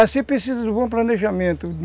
Vai ser preciso um bom planejamento.